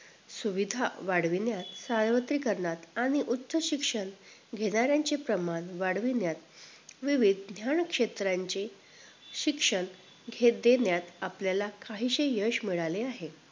सुविधा वाढविण्यात सार्वत्रिकरणात आणि उच्च शिक्षण घेणाऱ्यांचे प्रमाण वाढविण्यात विविध ध्यानक्षेत्रांचे शिक्षण घेण्या देण्यात आपल्याला काहीसे यश मिळाले आहे